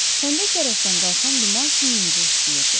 Xəndək tərəfdən qalxan duman sümüyümüzə işləyirdi.